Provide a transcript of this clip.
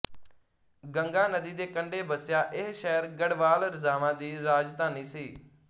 ਗੰਗਾ ਨਦੀ ਦੇ ਕੰਢੇ ਬਸਿਆ ਇਹ ਸ਼ਹਿਰ ਗੜਵਾਲ ਰਾਜਾਵਾਂ ਦੀ ਰਾਜਧਾਨੀ ਸੀ